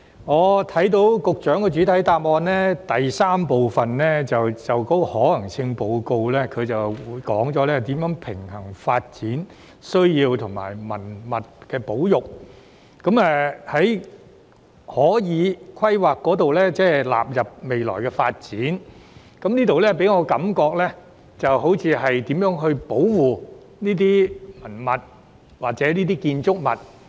我聽到局長在主體答覆第三部分有關可行性研究的回應中，提到如何平衡發展需要及文物保育，即是透過規劃納入未來發展，而這部分給我的感覺就像是如何保護這些文物或建築物。